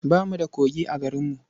Ba mu da kogi a garinmu.